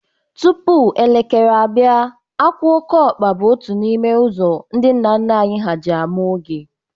Tupu elekere abịa. àkwà okeọkpa bụ otu n' ime ụzọ ndị nna nna ha anyị ji amaa oge